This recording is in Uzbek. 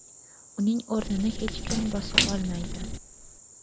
Uning o‘rnini hech kim bosa olmaydi.